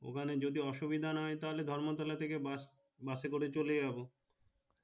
ওখানে যদি ঔসুবিধাস না হয় তাহলে ধর্ম তলা থাকে বাসএ করে চলে যাবো